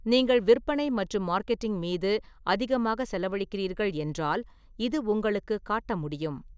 நீங்கள் விற்பனை மற்றும் மார்க்கெட்டிங் மீது அதிகமாக செலவழிக்கிறீர்கள் என்றால் இது உங்களுக்குக் காட்ட முடியும்.